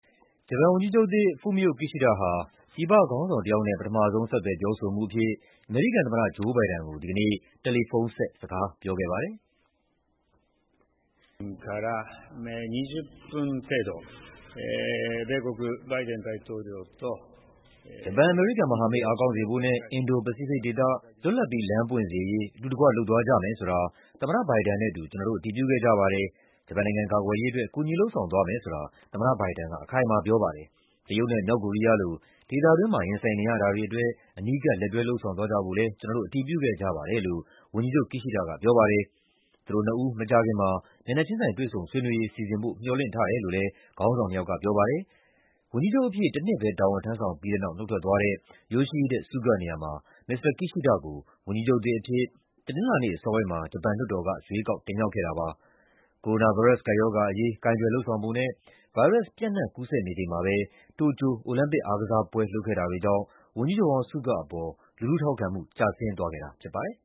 ဂျပန်ဝန်ကြီးချုပ်သစ် Fumio Kishida ဟာ ပြည်ပခေါင်းဆောင်တယောက်နဲ့ ပထမဆုံး ဆက်သွယ်ပြောဆိုမှုအဖြစ် အမေရိကန်သမ္မတ Joe Biden ကို ဒီကနေ့ တယ်လီဖုန်းဆက် စကားပြောခဲ့ပါတယ်။ "ဂျပန်-အမေရိကန် မဟာမိတ် အားကောင်းစေဖို့နဲ့ အင်ဒို-ပစိဖိတ်ဒေသ လွတ်လပ်ပြီး လမ်းပွင့်စေရေး အတူတကွ လုပ်သွားကြမယ်ဆိုတာ သမ္မတဘိုင်ဒန်နဲ့အတူ ကျနော်တို့ အတည်ပြုခဲ့ကြပါတယ်။ ဂျပန်နိုင်ငံကာကွယ်ရေးအတွက် ကူညီလုပ်ဆောင်သွားမယ်ဆိုတာ သမ္မတဘိုင်ဒန်က အခိုင်အမာပြောပါတယ်။ တရုတ်နဲ့ မြောက်ကိုရီးယားလို ဒေသတွင်းမှာ ရင်ဆိုင်နေရတာတွေအတွက် အနီးကပ် လက်တွဲ လုပ်ဆောင်သွားကြဖို့လည်း ကျနော်တို့ အတည်ပြုခဲ့ကြပါတယ်" လို့ ဝန်ကြီးချုပ် Kishida ကပြောပါတယ်။ သူတို့နှစ်ဦး မကြာခင်မှာ မျက်နှာချင်းဆိုင် တွေ့ဆုံဆွေးနွေးရေး စီစဉ်ဖို့ မျှော်လင့် ထားတယ်လို့လည်း ခေါင်းဆောင်နှစ်ယောက်က ပြောပါတယ်။ ဝန်ကြီးချုပ်အဖြစ် တနှစ်ပဲ တာဝန်ထမ်းဆောင်ပြီးတဲ့နောက် နုတ်ထွက်သွားတဲ့ Yoshihide Suga နေရာမှာ မစ္စတာ Kishida ကို ဝန်ကြီးချုပ်သစ်အဖြစ် တနင်္လာ နေ့ အစောပိုင်းမှာ ဂျပန်လွှတ်တော်က ရွေးကောက် တင်မြှောက်ခဲ့တာပါ။ ကိုရိုနာဗိုင်းရပ်စ် ကပ်ရောဂါအရေး ကိုင်တွယ်လုပ်ဆောင်ပုံနဲ့ ဗိုင်းရပ်စ်ပျံ့နှံ့ကူးစက် နေချိန်မှာပဲ တိုကျို အိုလံပစ်အားကစားပွဲလုပ်ခဲ့တာတွေကြောင့် ဝန်ကြီးချုပ်ဟောင်း Suga အပေါ် လူထုထောက်ခံမှု ကျဆင်းသွားခဲ့တာဖြစ်ပါတယ်